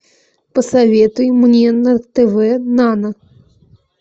посоветуй мне на тв нано